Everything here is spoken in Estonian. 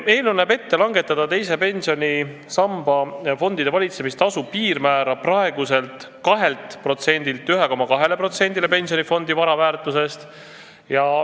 Eelnõu näeb ette langetada teise pensionisamba fondide valitsemistasu piirmäära praeguselt 2%-lt 1,2%-le pensionifondi vara väärtusest.